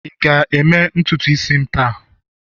ị ga-eme ntutu isi m taa?